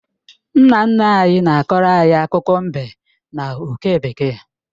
Nna nna anyị na-akọọrọ anyị akụkọ mbe na oke bekee